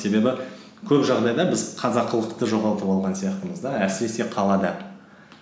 себебі көп жағдайда біз қазақылықты жоғалтып алған сияқтымыз да әсіресе қалада